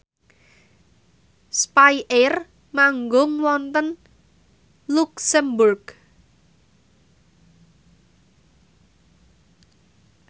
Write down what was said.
spyair manggung wonten luxemburg